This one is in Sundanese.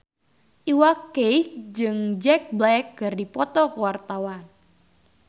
Iwa K jeung Jack Black keur dipoto ku wartawan